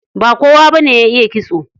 Ba kowa bane ya iya kitso.